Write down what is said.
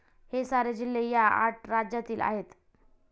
हे सारे जिल्हे ह्या आठ राज्यातील आहेत.